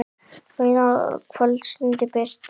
Og eina kvöldstund birti.